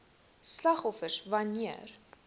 slagoffers wan neer